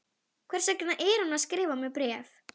Hvers vegna er hún að skrifa mér bréf?